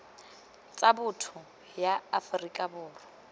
tsa botho ya aforika borwa